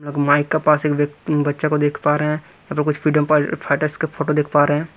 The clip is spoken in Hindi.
माइक का पास एक व्यक बच्चा को देख पा रहे हैं कुछ फ्रीडम फाइटर्स का फोटो देख पा रहे हैं।